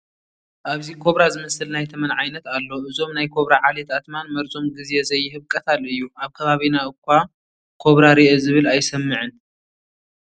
ኣብዚ ኮብራ ዝመስል ናይ ተመን ዓይነት ኣሎ፡፡ እዞም ናይ ኮብራ ዓሌት ኣትማን መርዞም ግዜ ዘይህብ ቀታሊ እዩ፡፡ ኣብ ከባቢና እዃ ኮብራ ሪአ ዝብል ኣይሰምዕን፡፡